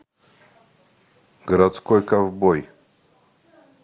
городской ковбой